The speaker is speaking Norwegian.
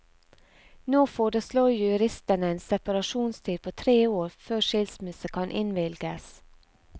Nå foreslår juristene en separasjonstid på tre år før skilsmisse kan innvilges.